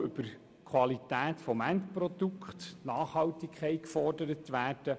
Die Nachhaltigkeit kann ebenfalls über die Qualität des Endprodukts gefordert werden.